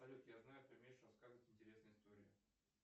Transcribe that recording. салют я знаю ты умеешь рассказывать интересные истории